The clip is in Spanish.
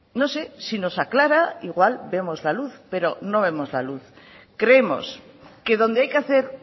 no sé si nos aclara igual vemos la luz pero no vemos la luz creemos que donde hay que hacer